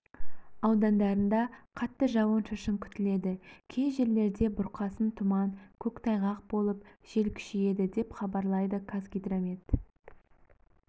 аудандарында қатты жауын-шашын күтіледі кей жерлерде бұрқасын тұман көктайғақ болып жел күшейеді деп хабарлайды қазгидромет